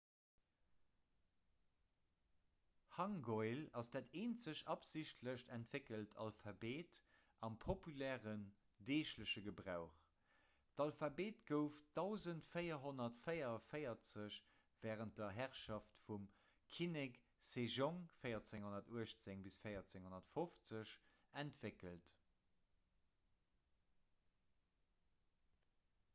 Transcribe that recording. hangeul ass dat eenzegt absichtlech entwéckelt alphabet am populären deegleche gebrauch. d'alphabet gouf 1444 wärend der herrschaft vum kinnek sejong 1418 – 1450 entwéckelt